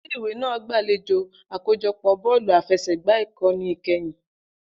Ile-iwe naa gbalejo akojọpọ bọ̀ọ̀lú àfẹsẹ̀gbá Ikoni Ikẹhin.